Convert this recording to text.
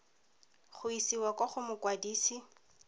go isiwa kwa go mokwadise